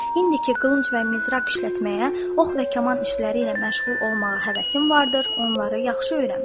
İndiki qılınc və mizraq işlətməyə, ox və kaman işləri ilə məşğul olmağa həvəsin vardır, onları yaxşı öyrən.